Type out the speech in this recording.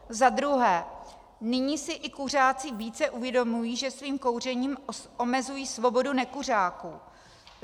Za druhé, nyní si i kuřáci více uvědomují, že svým kouřením omezují svobodu nekuřáků.